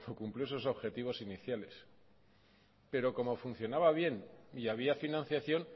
cuando cumplió sus objetivos iniciales pero como funcionaba bien y había financiación